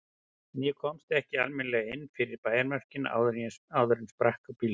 En ég komst ekki almennilega inn fyrir bæjarmörkin áður en sprakk á bílnum.